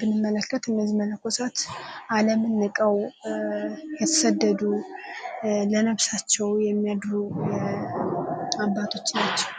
ብንመለከት እነዚህ መነኮሳት አለም ንቀው የተሰደዱ ለነፍሳቸው የሚያድሩ አባቶቻች ናቸው።